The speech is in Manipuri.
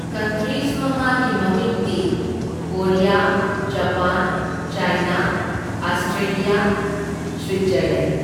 ꯀꯟꯇ꯭ꯔꯤꯁ ꯃꯉꯥꯒꯤ ꯃꯃꯤꯡꯗꯤ Korea, Japan, China, Australia, Switzerland.